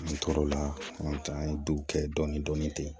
N tor'o la an ye duw kɛ dɔɔnin dɔɔnin ten